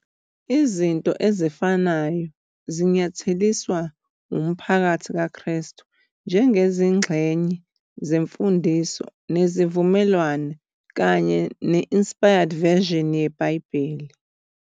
Izinto ezifanayo zinyatheliswa uMphakathi KaKrestu njengezingxenye zeMfundiso neziVumelwano kanye ne-Inspired Version yeBhayibheli.